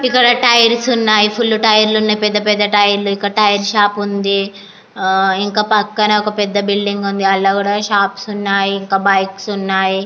ఇక్కడ టైర్స్ ఉన్నాయి. Full tyre లు ఉన్నాయి. పెద్ద పెద్ద టైర్ లు ఇక్కడ టైర్స్ షాప్ ఉంది. ఇంకా పక్కన ఒక్క పెద్ద బిల్డింగ్ ఉంది. అందులోకూడా షాప్స్ ఉన్నాయి. ఇంకా బైక్స్ ఉన్నాయి.